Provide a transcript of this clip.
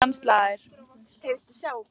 Klukkan slær.